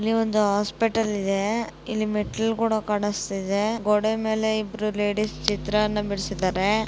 ಇಲ್ಲಿ ಒಂದು ಆಸ್ಪೆಟಲ್ ಇದೆ ಇಲ್ಲಿ ಮೆಟ್ಟಲು ಕೂಡ ಕಾಣಸ್ತಿದೆ. ಗೋಡೆ ಮೇಲೆ ಇಬ್ಬರ ಲೇಡೀಸ್ ಚಿತ್ರಾನ ಬಿಡಿಸಿದ್ದಾರೆ.